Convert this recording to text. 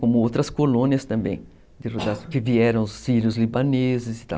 Como outras colônias também, que vieram os sírios libaneses e tal.